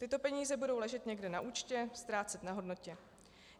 Tyto peníze budou ležet někde na účtě, ztrácet na hodnotě.